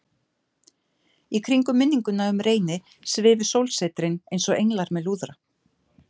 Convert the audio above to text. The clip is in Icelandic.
Í kringum minninguna um Reyni svifu sólsetrin einsog englar með lúðra.